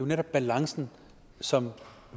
netop balancen som